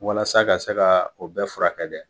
Walasa ka se ka o bɛɛ furakɛ dɛ